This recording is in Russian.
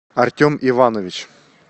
артем иванович